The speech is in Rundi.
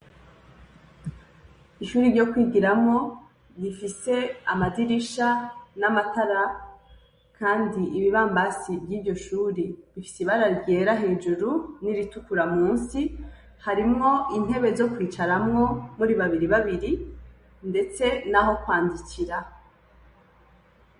Ishuri ryo kwigiramwo rifise amadirisha n'amatara kandi ibibamabsi vyiryo shure bifise ibara ryera hejuru n'iritukura musi, harimwo intebe zo kwicarako muri babiri babiri ndetse naho kwandikira.